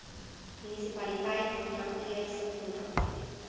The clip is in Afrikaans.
munisipaliteit kontrakteur subkontrakteur